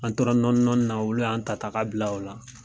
An tora nɔni nɔni na olu y'an ta ta ka bila ola